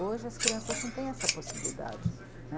Hoje as crianças não têm essa possibilidade